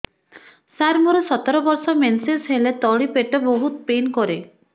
ସାର ମୋର ସତର ବର୍ଷ ମେନ୍ସେସ ହେଲେ ତଳି ପେଟ ବହୁତ ପେନ୍ କରେ